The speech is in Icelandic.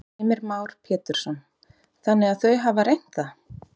Heimir Már Pétursson: Þannig að þau hafa reynt það?